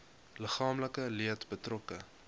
liggaamlike leed betrokke